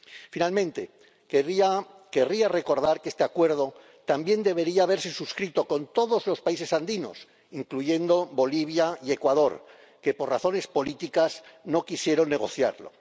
Finalmente querría recordar que este Acuerdo también debería haberse suscrito con todos los países andinos, incluyendo Bolivia y Ecuador, que por razones políticas no quisieron negociarlo.